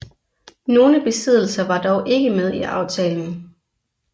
Nogle besiddelser var dog ikke med i aftalen